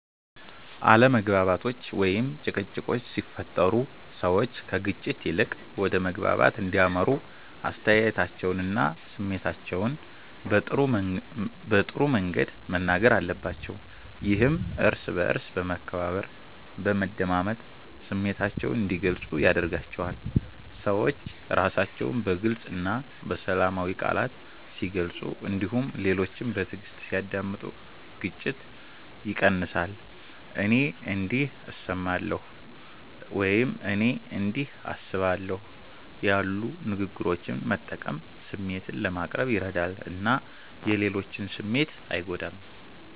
አለመግባባቶች ወይም ጭቅጭቆች ሲፈጠሩ ሰዎች ከግጭት ይልቅ ወደ መግባባት እንዲያመሩ አስተያየታቸውንና ስሜታቸውን በጥሩ መንገድ መናገር አለባቸው። ይህም እርስ በእርስ በመከባበር፣ በመደማመጥ ስሜታቸውን እንዲገልጹ ያደርጋቸዋል። ሰዎች ራሳቸውን በግልፅ እና በሰላማዊ ቃላት ሲገልጹ እንዲሁም ሌሎችን በትዕግስት ሲያዳምጡ ግጭት ይቀንሳል። “እኔ እንዲህ እሰማለሁ” ወይም “እኔ እንዲህ አስባለሁ” ያሉ ንግግሮችን መጠቀም ስሜትን ለማቅረብ ይረዳል እና የሌሎችን ስሜት አይጎዳም።